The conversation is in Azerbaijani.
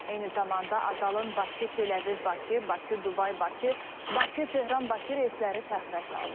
Eyni zamanda Azalın Bakı, Teləviv, Bakı, Bakı, Dubay, Bakı, Bakı, Tehran, Bakı reysləri təxirə salınıb.